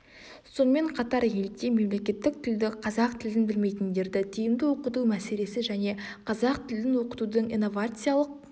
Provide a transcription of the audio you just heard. сонымен қатар елде мемлекеттік тілді қазақ тілін білмейтіндерді тиімді оқыту мәселесі және қазақ тілін оқытудың инновациялық